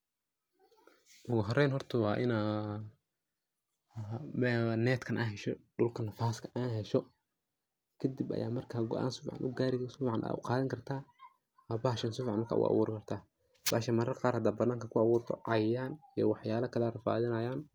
ogu horeeyn waa inaa netkan aa hesho dhulka nafaaska aa hesho, kadib aya marka go'an sii fican ugari oo si fican uqadan karta oo bahashas sii fican u aburi karta, bahashan marar qar hadad bananka ku aburto cayayan iyo wax yala kale aya ku rafadinayan